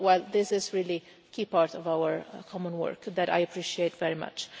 This is really a key part of our common work that I appreciate very much.